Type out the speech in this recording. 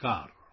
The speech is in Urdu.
نمسکار